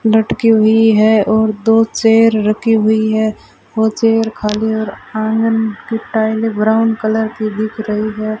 लटकी हुई है और दो चेयर रखी हुई है और चेयर खाली और आंगन की टाइलें ब्राउन कलर की दिख रही है।